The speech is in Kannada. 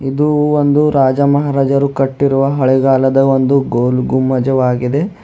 ಇದು ಒಂದು ರಾಜ ಮಹಾರಾಜರು ಕಟ್ಟಿರುವ ಹಳೆಗಾಲದ ಒಂದು ಗೋಲ್ ಗುಂಬಜವಾಗಿದೆ.